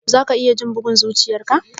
Za ka iya jin bugun zuchiyar ka?